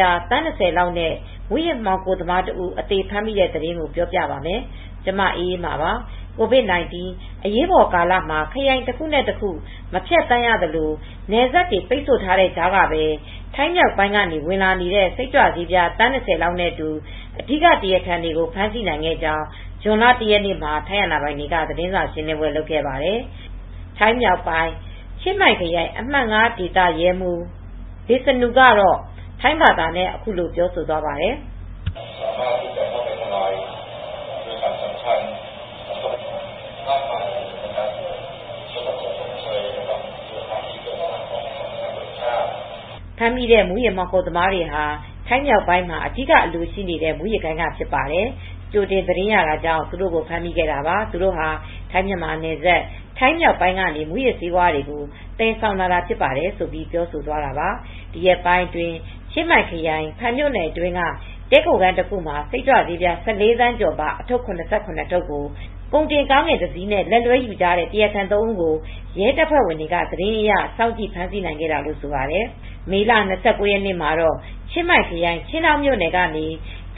ြား သန်း၂၀ လောက်နဲ့ မူးယစ်မှောင်ခိုသမားတဦး အသေဖမ်းမိတဲ့ သတင်းကို ဗွီအိုအေမြန်မာပိုင်း သတင်းထောက် မအေးအေးမာက ပြောပြပါမယ်။ COVID-19 အရေးပေါ်ကာလမှာ ခရိုင်တခုနဲ့ တခု မဖြတ်သန်းရသလို နယ်စပ်တွေ ပိတ်ဆို့ထားတဲ့ကြားကပဲ ထိုင်းမြောက်ပိုင်းမှာ ဝင်လာတဲ့ စိတ်ကြွဆေးပြား သန်း၂၀ နဲ့ အတူ အဓိက တရားခံတွေကို ဖမ်းဆီးနိုင်ခဲ့ကြောင်း ဇွန်လ ၁ ရက်နေ့မှာ ထိုင်းအာဏာပိုင်တွေက သတင်းစာရှင်းလင်းပွဲ လုပ်ခဲ့ပါတယ်။ ထိုင်းမြောက်ပိုင်း ချင်းမိုင်ခရိုင်အမှတ် ၅ ဒေသ ရဲမှူး Visanu Prasatthong ကတော့ ထိုင်းဘာသာနဲ့ အခုလိုပြောပါတယ်။ ဖမ်းမိတဲ့ မူးယစ်ဆေးဝါးမှောင်ခိုသမားတွေဟာ ထိုင်းမြောက်ပိုင်းမှာ အဓိက အလိုရှိနေတဲ့ မူးယစ်ဂိုဏ်းက ဖြစ်ပါတယ်။ ကြိုတင်သတင်းရတာကြောင့် သူတို့ကို ဖမ်းမိခဲ့တာပါ။ သူတို့ဟာ ထိုင်းမြန်မာနယ်စပ် ထိုင်းမြောက်ပိုင်းကနေ မူးယစ်ဆေးဝါးတွေကို သယ်ဆောင်လာတာဖြစ်ပါတယ်ဆိုပြီး ပြောသွားတာပါ။ ဒီရက်ပိုင်းအတွင်း ချင်းမိုင်ခရိုင် ဖန်မြို့နယ်အတွင်းက တည်းခိုခန်း တစ်ခုမှာ စိတ်ကြွဆေးပြား ၁၄ သန်းကျော်ပါ အထုတ် ၇၇ ထုတ်ကို ကုန်တင်ကားငယ်တစ်စီးနဲ့ လက်လွဲ ယူထားကြတဲ့ တရားခံသုံးဦးကို ရဲတပ်ဖွဲ့ဝင်တွေက သတင်းအရ စောင့်ကြည့် ဖမ်းဆီးနိုင်ခဲ့တာလို့ ဆိုပါတယ်။ မေလ ၂၉ ရက်နေ့မှာ တော့ ချင်းမိုင်ခရိုင် ချင်းဒေါင်မြို့နယ်ကနေ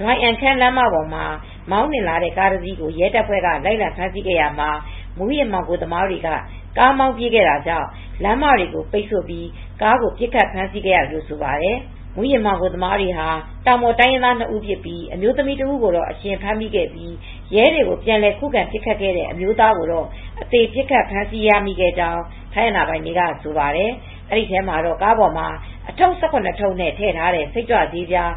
ဒွိုင်အမ်ခမ်း လမ်းမပေါ်မှာ မောင်းနှင်လာတဲ့ ကားတစီးကို ရဲတပ်ဖွဲ့က လိုက်လံဖမ်းဆီးခဲ့ရာမှာ မူးယစ်မှောင်ခိုသမားတွေက ကားမောင်းပြေးခဲ့တာကြောင့် လမ်းမတွေကို ပိတ်ဆို့ပြီး ကားကို ပစ်ခတ် ဖမ်းဆီးခဲ့ရတယ်လို့ ဆိုပါတယ်။ မူးယစ်မှောင်ခိုသမားတွေဟာ တောင်ပေါ်တိုင်ရင်းသား နှစ်ဦး ဖြစ်ပြီး အမျိုးသမီး တဦးကို အရှင်ဖမ်းမိခဲ့ပြီး ရဲတွေကို ပြန်ခုခံပစ်ခတ်ခဲ့တဲ့ အမျိုးသားကိုတော့ အသေပစ်ခတ်ဖမ်းဆီးခဲ့ရကြောင်း ထိုင်းအာဏာပိုင်တွေက ဆိုပါတယ်။ ဒီထဲမှာတော့ ကားပေါ်မှာ အထုတ် ၁၇ နဲ့ ထည့်ထားတဲ့ စိတ်ကြွဆေးပြား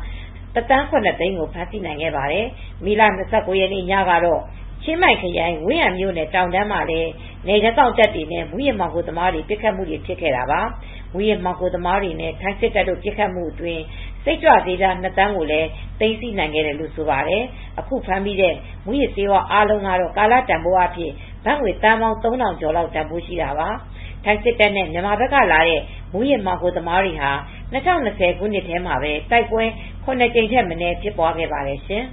၁,၇၀၀,၀၀၀ ဖမ်ဆီးနိုင်ခဲ့ပါတယ်။ မေလ ၂၉ ရက်နေ့ည မှာတော့ ချင်းမိုင်ခရိုင်ဝင်ဟန်မြို့နယ် တောင်တန်းမှာလည်း နယ်ခြားစောင့်တပ်တွေနဲ့ မူးယစ်မှောင်ခိုသမားတွေဟာ ပစ်ခတ်မှုတွေလည်း ဖြစ်ခဲ့တာပါ။ မူးယစ်မှောင်ခိုသမားတွေနဲ့ ထိုင်းစစ်တပ်တို့ ပစ်ခတ်မှုအတွင်း စိတ်ကြွဆေးပြား ၂,၀၀၀,၀၀၀ ကိုလည်း သိမ်းဆည်းနိုင်ခဲ့တယ်လို့ ဆိုပါတယ်။ အခုဖမ်းမိတဲ့ မူးယစ်ဆေးဝါး အားလုံးကတော့ ကာလတန်ဖိုးအားဖြင့် ဘတ်ငွေသန်းပေါင်း ၃,၀၀၀ ကျော်လောက်တန်ဖိုးရှိတာပါ။ ထိုင်းစစ်တပ်နဲ့ မြန်မာဘက်ကလာတဲ့ မူးယစ်မှောင်ခိုသမားတွေဟာ ၂၀၂၀ ခုနှစ်ထဲမှာပဲ တိုက်ပွဲ ၇ ကြိမ်ထက်မနည်း ဖြစ်ပွားခဲ့ပါတယ်ရှင်